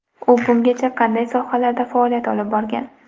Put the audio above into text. U bungacha qanday sohalarda faoliyat olib borgan?.